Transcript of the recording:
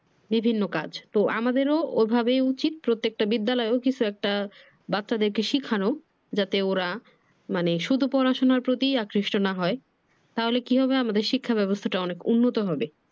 বিভিন্ন কাজ তো আমাদের ঐভাবে উচিত প্রত্যেকটা বিদ্যালয়েও কিছু একটা বাচ্চাদের কে শিখানো যাতে ওরা মানে শুধু পড়াশুনার প্রতি আকৃষ্ট না হয় । তাহলে কি হবে আমাদের শিক্ষা ব্যবস্থাটা অনেক উন্নত হবে।